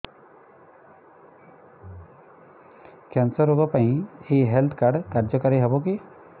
cancer ରୋଗ ପାଇଁ ଏଇ ହେଲ୍ଥ କାର୍ଡ କାର୍ଯ୍ୟକାରି ହେବ କି